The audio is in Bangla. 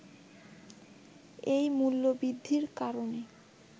এই মূল্য বৃদ্ধির কারণে